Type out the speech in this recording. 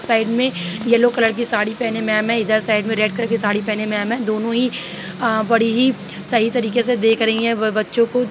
Side में yellow colour की साड़ी पहने मैम हैं। इधर साइड में रेड कलर की साड़ी पहने मैम हैं। दोनों ही बड़ी ही अ सही तरीके से देख रहीं हैं। ब - बच्चों को।